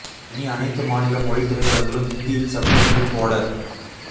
இனி அனைத்து மாநில மொழி திரைப்படங்களும் இந்தியில் சப் டைட்டில் போட